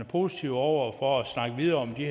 positive over for at snakke videre om de